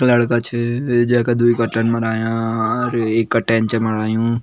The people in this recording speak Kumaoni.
एक लड़का छ जेका द्वी कटन बणाया अ-और एक कटेन छ बणायु।